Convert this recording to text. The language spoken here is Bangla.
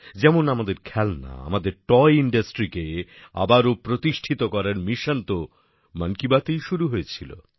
যেমন আমাদের খেলনা আমাদের টয় industryকে আবার প্রতিষ্ঠিত করার মিশন মন কি বাতএই শুরু হয়েছিল